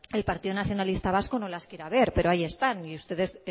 el partido nacionalista vasco no las quiera ver pero ahí están y ustedes